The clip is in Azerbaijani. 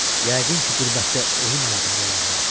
Yəqin ki qürbətdə ölüm ayağında olanlar.